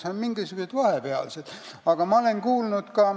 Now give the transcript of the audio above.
Ja on ka mingisugused vahepealsed võimalused.